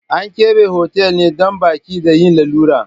An keɓe hotal ne don baƙi da yin lalura.